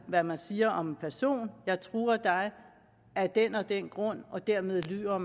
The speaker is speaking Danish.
hvad man siger om en person jeg truer dig af den og den grund og dermed lyver